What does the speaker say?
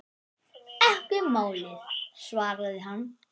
Ekki málið, svaraði hann.